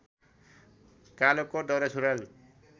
कालो कोट दौरासुरुवाल